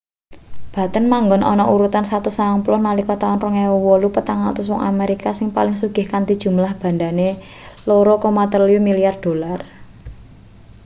batten manggon ana urutan 190 nalika taun 2008 400 wong amerika sing paling sugih kanthi jumlah bandhane $2.3 milyar